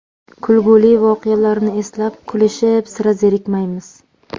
Kulguli voqealarni eslab, kulishib, sira zerikmaymiz”.